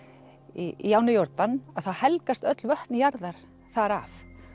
í ánni Jórdan þá helgast öll vötn jarðar þar af